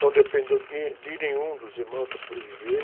Não dependeu de, de nenhum dos irmãos para sobreviver.